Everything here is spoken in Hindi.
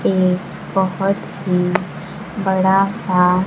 एक बहोत ही बड़ा सा--